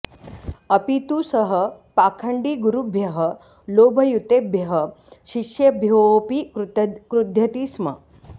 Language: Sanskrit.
अपि तु सः पाखण्डिगुरुभ्यः लोभयुतेभ्यः शिष्येभ्योऽपि क्रुध्यति स्म